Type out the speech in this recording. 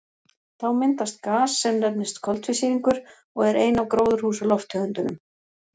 Þá myndast gas sem nefnist koltvísýringur og er ein af gróðurhúsalofttegundunum.